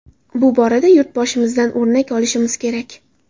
Bu borada Yurtboshimizdan o‘rnak olishimiz kerak.